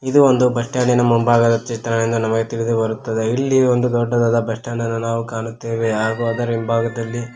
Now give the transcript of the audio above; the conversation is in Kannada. ಇದು ಒಂದು ಬಸ್ ಸ್ಟ್ಯಾಂಡಿನ ಮುಂಭಾಗದ ಚಿತ್ರವೆಂದು ನಮಗೆ ತಿಳಿದು ಬರುತ್ತದೆ ಇಲ್ಲಿ ಒಂದು ದೊಡ್ಡದಾದ ಬಸ್ ಸ್ಟ್ಯಾಂಡ್ ಅನ್ನು ನಾವು ಕಾಣುತ್ತೇವೆ ಹಾಗು ಅದರ ಹಿಂಭಾಗದಲ್ಲಿ --